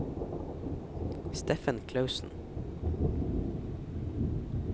Steffen Klausen